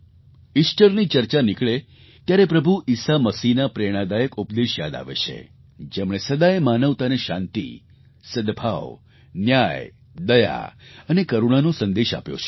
ઇસ્ટરની ચર્ચા નીકળે ત્યારે પ્રભુ ઈસા મસીહના પ્રેરણાદાયક ઉપદેશ યાદ આવે છે જેમણે સદાય માનવતાને શાંતિ સદભાવ ન્યાય દયા અને કરુણાનો સંદેશ આપ્યો છે